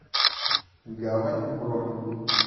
гавань бронь